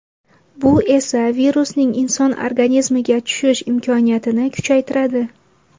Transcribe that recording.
Bu esa virusning inson organizmiga tushish imkoniyatini kuchaytiradi.